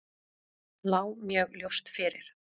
Lá mjög ljóst fyrir.